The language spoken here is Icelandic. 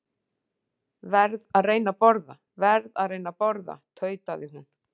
Verð að reyna að borða, verð að reyna að borða tautaði hún.